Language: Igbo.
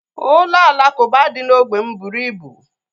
Ụlọ alakuba dị na ógbè m bụrụ ibu